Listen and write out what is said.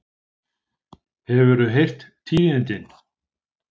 Hefurðu heyrt tíðindin?